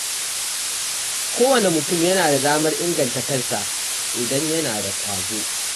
Kowane mutum yana da damar inganta kansa idan yana da ƙwazo.